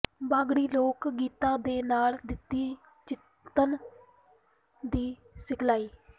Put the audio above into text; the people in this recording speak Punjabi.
ਬਾਗੜੀ ਲੋਕ ਗੀਤਾਂ ਦੇ ਨਾਲ ਦਿੱਤੀ ਚਿੱਤਨ ਦੀ ਸਿਖ਼ਲਾਈ